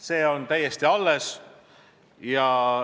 See on täiesti alles.